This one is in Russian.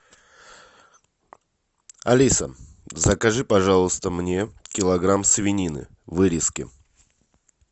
алиса закажи пожалуйста мне килограмм свинины вырезки